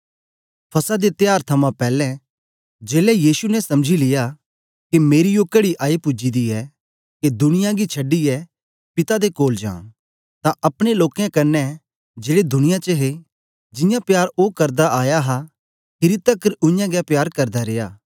फसह दे त्यार थमां पैलैं जेलै यीशु ने समझी लिया के मेरी ओ कड़ी आई पूजी दी ऐ के दुनिया गी छडीयै पिता दे कोल जां तां अपने लोकें कन्ने जेड़े दुनिया च हे जियां प्यार ओ करदा आया हा खीरी तकर उयांगै प्यार करदा रिया